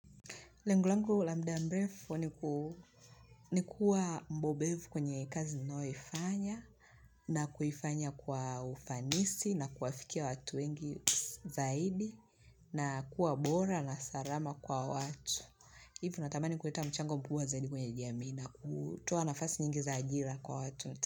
Lengo langu la mda mrefu ni kuwa mbobefu kwenye kazi ninaoifanya na kuifanya kwa ufanisi na kuafikia watu wengi zaidi na kuwa bora na sarama kwa watu. Hivo natamani kuleta mchango mkubwa zaidi kwenye jamii na kutoa nafasi nyingi za ajira kwa watu wote.